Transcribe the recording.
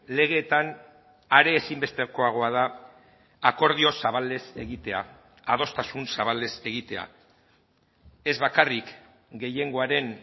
legeetan are ezinbestekoagoa da akordio zabalez egitea adostasun zabalez egitea ez bakarrik gehiengoaren